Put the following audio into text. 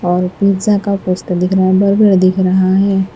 और पिज़्ज़ा का पोस्टर बराबर में दिख रहा है।